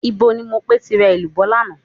Níbo ni Mopé ti ra èlùbọ́ lánàá?